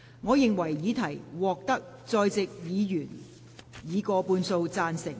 我認為議題獲得在席委員以過半數贊成。